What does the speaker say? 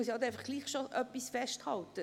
Ich muss nun trotzdem etwas festhalten: